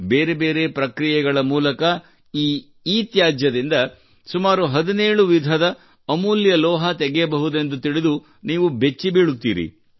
ಬೇರೆ ಬೇರೆ ಪ್ರಕ್ರಿಯೆಗಳ ಮೂಲಕ ಈ ಇತ್ಯಾಜ್ಯದಿಂದ ಸುಮಾರು 17 ವಿಧದ ಅಮೂಲ್ಯ ಲೋಹ ತೆಗೆಯಬಹುದೆಂದು ತಿಳಿದು ನೀವು ಬೆಚ್ಚಿ ಬೀಳುತ್ತೀರಿ